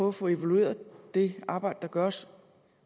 at få evalueret det arbejde der gøres